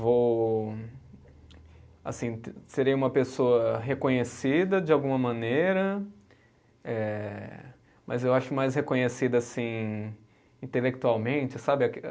Vou, assim, serei uma pessoa reconhecida de alguma maneira, eh mas eu acho mais reconhecida, assim, intelectualmente, sabe?